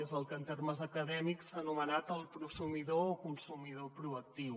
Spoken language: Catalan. és el que en termes acadèmics s’ha ano·menat prosumidor o consumidor proactiu